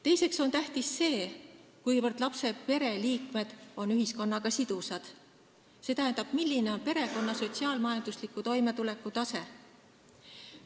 Teiseks on tähtis see, kuivõrd lapse pereliikmed on ühiskonnaga sidusad, st milline on perekonna sotsiaal-majandusliku toimetuleku tase.